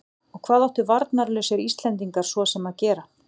Og hvað áttu varnarlausir Íslendingar svo sem að gera?